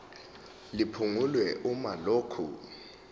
liphungulwe uma lokhu